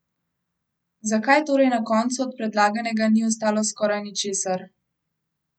Zakaj torej na koncu od predlaganega ni ostalo skoraj ničesar?